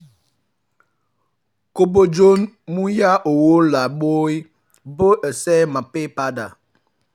kò bọ́gbọ́n mu yá owó láì mọ bó o ṣe máa san padà